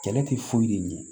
Kɛlɛ tɛ foyi de ɲɛ